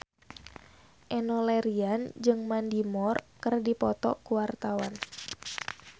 Enno Lerian jeung Mandy Moore keur dipoto ku wartawan